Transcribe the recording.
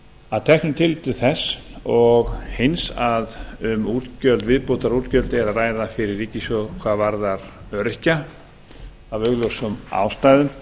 að teknu tilliti til þess og hins að um viðbótarútgjöld er að ræða fyrir ríkissjóð hvað varðar öryrkja af augljósum ástæðum